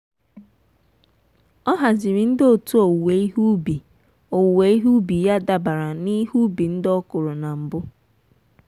ọ haziri ndị otu owuwe ihe ubi owuwe ihe ubi ya dabere na ihe ubi ndị ọ kụrụ na mbụ.